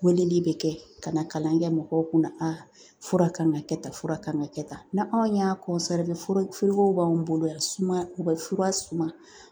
Weleli bɛ kɛ ka na kalan kɛ mɔgɔw kunna fura kan ka kɛ tan fura kan ka kɛ tan ni anw y'a b'anw bolo yan sumaya u bɛ fura suma